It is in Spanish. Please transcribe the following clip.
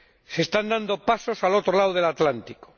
Se están dando pasos al otro lado del Atlántico